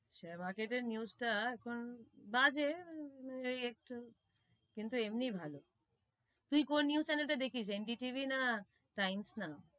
Share market এর news তা এখন বাজে একটু কিন্তু এমনি ভালো তুই কোন news channel টা দেখিস? NDTV না টাইমস নাউ,